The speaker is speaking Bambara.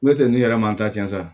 N'o tɛ ne yɛrɛ ma n ta cɛnna sa